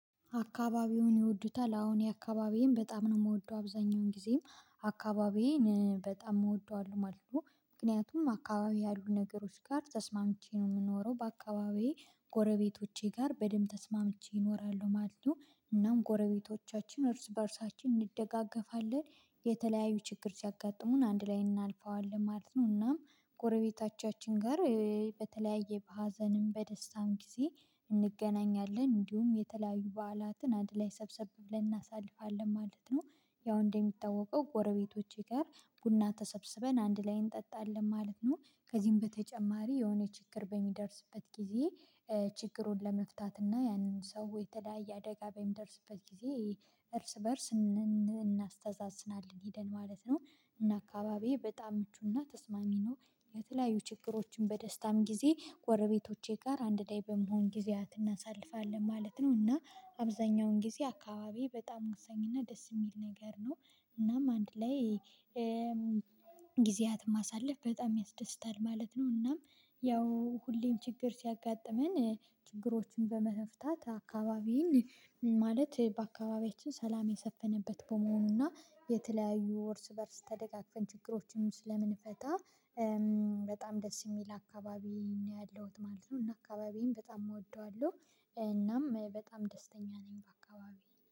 አካባቢውን ይወዱታል አዎ እኔ አካባቢዬን በጣም ነው እምወደው አብዛኛውን ጊዜም አካባቢዬን በጣም እወደዋለሁ ማለት ነው። ምክንያቱም አካባቢ ያሉ ነገሮች ጋር ተስማምቼ ነው እምኖረው በአካባቢዬ ጎረቤቶቼ ጋር በደንብ ተስማምቼ እኖራለሁ ማለት ነው። እናም ጎረቤቶቻችን እርስ በእርሳችን እንደጋገፋለን የተለያዩ ችግር ሲያጋጥሙን አንድ ላይ እናልፈዋለን ማለት ነው። እናም ጎረቤቶቻችን ጋር በተለያየ በሀዘንም በደስታም ጊዜ እንገናኛለን እንዲሁም የተለያዩ በዓላትን አንድ ላይ ሰብሰብ ብለን እናሳልፋለን ማለት ነው። ያው እንደሚታወቀው ጎረቤቶቼ ጋር ቡና ተሰብስበን አንድ ላይ እንጠጣለን ማለት ነው። ከዚህም በተጨማሪ የሆነ ችግር በሚደርስበት ጊዜ ችግሩን ለመፍታት እና ያንን ሰው የተለያየ አደጋ በሚደርስበት ጊዜ እርስ በእርስ እናስተዛዝናለን ሄደን ማለት ነው። እና አካባቢዬ በጣም ምቹና ተስማሚ ነው። የተለያዩ ችግሮችን በደስታም ጊዜ ጎረቤቶቼ ጋር አንድ ላይ በመሆን ጊዜያት እናሳልፋለን ማለት ነው። እና አብዛኛውን ጊዜ አካባቢዬ በጣም ወሳኝና ደስ እሚል ነገር ነው። እናም አንድ ላይ ጊዜያትን ማሳለፍ በጣም ያስደስታል ማለት ነው። እናም ያው ሁሌም ችግር ሲያጋጥመን ችግሮችን በመፍታት አካባቢዬን ማለት በአካባቢያችን ሰላም የሰፈነበት በመሆኑና የተለያዩ እርስ በእርስ ተደጋግፈን ችግሮችን ስለምንፈታ በጣም ደስ እሚል አካባቢ ነው ያለሁት ማለት ነው። እና አካባቢዬን በጣም እወደዋለሁ። እናም በጣም ደስተኛ ነኝ በአካባቢዬ